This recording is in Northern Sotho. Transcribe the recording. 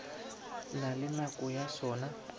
na le nako ya sona